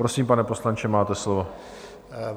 Prosím, pane poslanče, máte slovo.